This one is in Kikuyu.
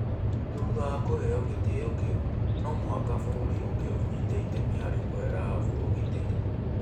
Thutha wa kũheo gĩtĩo kĩu, no mũhaka bũrũri ũngĩ ũnyite itemi harĩ kũhe Rahabu ũgitĩri.